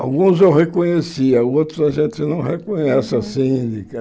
Alguns eu reconhecia, outros a gente não reconhece assim de